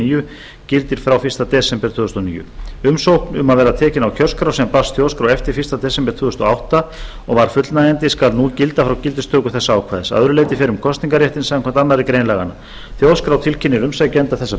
níu gildir frá fyrsta desember tvö þúsund og níu umsókn um að verða tekinn á kjörskrá sem barst þjóðskrá eftir fyrsta desember tvö þúsund og átta og var fullnægjandi skal nú gilda frá gildistöku þessa ákvæðis að öðru leyti fer um kosningarréttinn samkvæmt annarri grein laganna þjóðskrá tilkynnir umsækjanda þessa